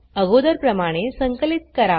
अगोदरप्रमाणे संकलित करा